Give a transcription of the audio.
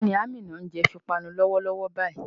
Kí ni Àmíná ń jẹ fi panu lọ́wọ́lọ́wọ́ báyìí?